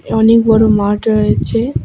অনেক বড়ো মাঠ রয়েছে।